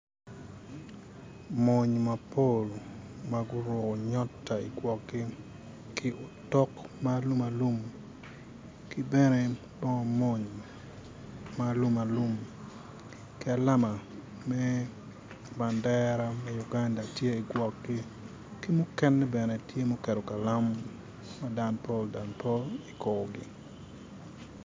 Mony mapol maguruko nyota i korgi ki tok malum alum ki bene bongo mony malum alum ki alama me bendera me Uganda tye igwokgi ki mukene bene tye kalam ma danpol dan pol ikorgi